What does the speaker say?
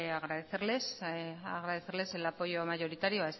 agradecerles el apoyo mayoritario